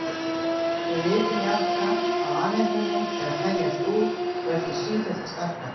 Við vitum jafnframt að alheimurinn er að þenjast út og er því sífellt að stækka.